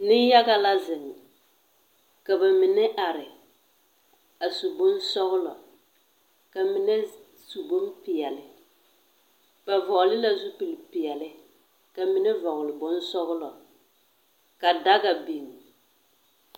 Neŋ-yaga la zeŋ, ka ba mine are, a su bonsɔglɔ, ka mine su bompeɛle. Ba vɔgle la zupilpeɛle, ka mine vɔgle bonsɔglɔ, ka daga biŋ.